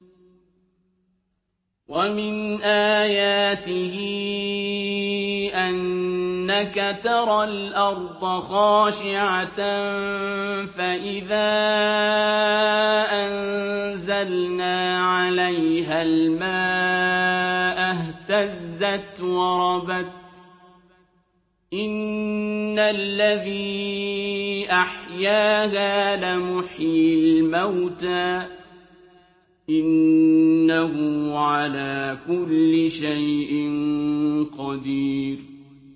وَمِنْ آيَاتِهِ أَنَّكَ تَرَى الْأَرْضَ خَاشِعَةً فَإِذَا أَنزَلْنَا عَلَيْهَا الْمَاءَ اهْتَزَّتْ وَرَبَتْ ۚ إِنَّ الَّذِي أَحْيَاهَا لَمُحْيِي الْمَوْتَىٰ ۚ إِنَّهُ عَلَىٰ كُلِّ شَيْءٍ قَدِيرٌ